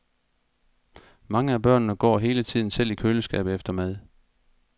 Mange af børnene går hele tiden selv i køleskabet efter mad.